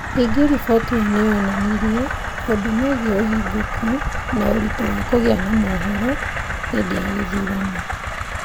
Ningĩ riboti ĩyo nĩ yonanirie maũndũ megiĩ ũhingoku na ũritũ wa kũgĩa na mohooro hĩndĩ ya gĩthurano.